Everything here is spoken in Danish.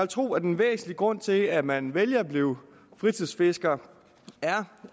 tro at en væsentlig grund til at man vælger at blive fritidsfisker er